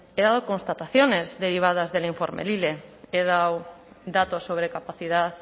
he dado constataciones derivadas del informe lile he dado datos sobre capacidad